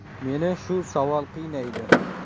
Meni shu savol qiynaydi.